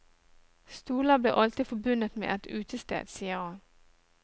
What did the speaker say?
Stoler blir alltid forbundet med et utested, sier han.